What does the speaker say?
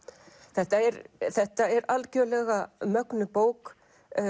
þetta er þetta er algjörlega mögnuð bók